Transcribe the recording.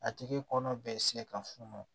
A tigi kɔnɔ bɛ se ka funu